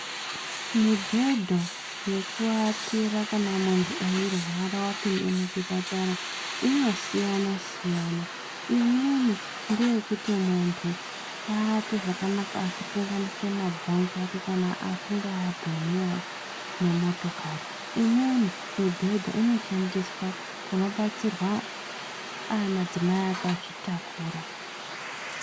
Mibhedhu yekuwatira kana munthu eirwara wapinde muchipatara, inosiyana_*siyana. Imweni ngeyekuti munthu awate zvakanaka zvisakanganisa mabhonzo kana munthu adhumiwa ngemotokari. Imweni mubhedhu inoshandiswe kunobatsirwa madzimai akazvitakura.